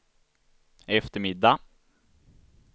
eftermiddag